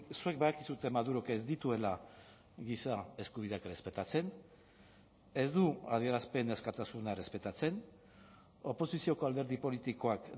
zuek badakizue madurok ez dituela giza eskubideak errespetatzen ez du adierazpen askatasuna errespetatzen oposizioko alderdi politikoak